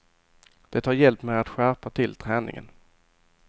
Det har hjälpt mig att skärpa till träningen.